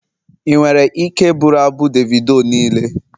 Ị nwere ike bụrụ abụ Davido niile?